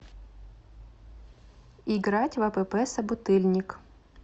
играть в апп собутыльник